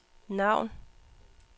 navn